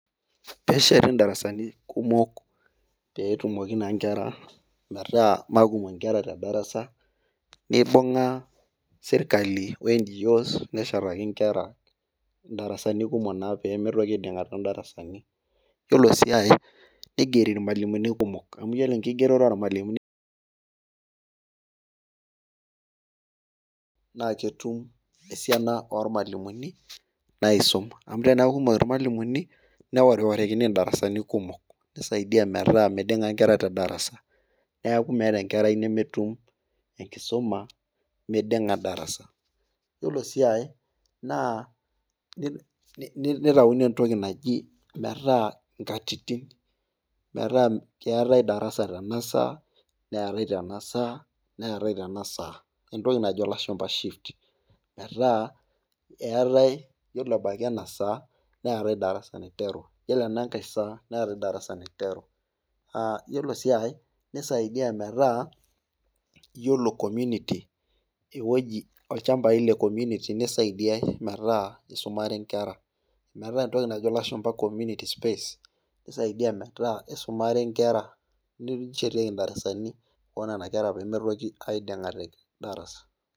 Pee esheti darasani kumok peetumoki naa nkera metaa mekumok nkera te darasa, neibung'a sirkali we NGOs neshetaki nkera darasani kumok naa pee neitoki aiding'a too darasani. iyiolo sii ae, neigeri ilmalimunj kumok. amu iyiolo enkigeroto oolmalimuninaa ketum esiana ake oormalimuni naaisum amu, ore tenaa kumok irmalimuni neoriorikini Idarasani kumok. nisaidia metaa midinga nkera tedarasa. neekumeeta enkerai nemetum enkisuma. midinga darasa. iyioolo sii ae naa nitaunie entoki naji metaa nkatitin. metaa. Keeta e darasa tena saa, neetae tena saa, neetae tena saa, neetae tena saa. entoki naijo lashumpa shift .metaa eetae . iyiolo ebaiki ena saa. neetae darasa naiteru. iyiolo enankae saa neetae darasa naiteru.aa iyiolo sii aae nisaidia metaa, iyiolo community ewueji olchampai le community nisaidiae metaa isumare nkera. metaa entoki naijo lashumpa community space nisaidia metaa isumare nkera. neshetieki darasani oonena kera pee mitoki aiding'a te darasa.